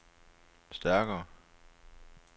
stærkere